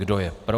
Kdo je pro?